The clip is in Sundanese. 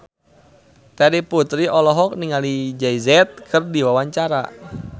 Terry Putri olohok ningali Jay Z keur diwawancara